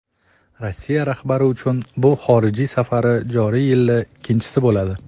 Rossiya rahbari uchun bu xorijiy safari joriy yilda ikkinchisi bo‘ladi.